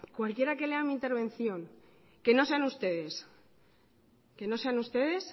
cualquiera que lea mi intervención que no sean ustedes